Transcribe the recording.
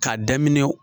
K'a daminɛ